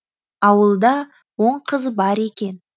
ауылда он қыз бар екен